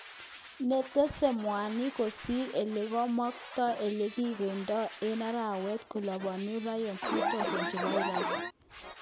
Netese mwanik kosir elekomokto elekikokide eng arawet koluponi rial 30,000 chebo Iran.